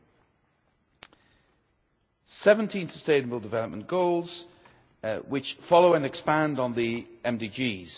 There are 17 Sustainable Development Goals which follow and expand on the MDGs.